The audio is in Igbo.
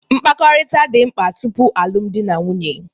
Mkpakọrịta dị mkpa tupu alụmdi na nwunye